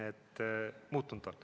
See on muutunud.